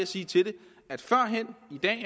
sige til det